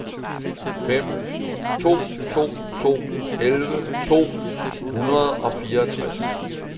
fem to to to elleve to hundrede og fireogtres